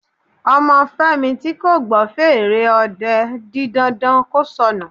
Ọmọ Fẹ́mi tí kò gbọ́ fèrè ọdẹ di dandan kí ó sọnù